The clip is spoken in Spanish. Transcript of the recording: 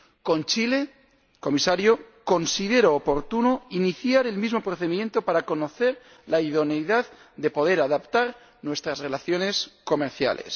Con Chile, Comisario, considero oportuno iniciar el mismo procedimiento para conocer la idoneidad de poder adaptar nuestras relaciones comerciales.